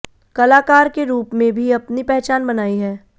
कलाकार के रूप में भी अपनी पहचान बनायी है